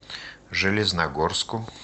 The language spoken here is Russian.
железногорску